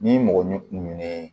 Ni mɔgɔ ɲinɛnen ye